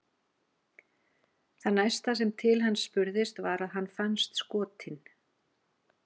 Það næsta sem til hans spurðist var að hann fannst skotinn.